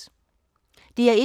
DR1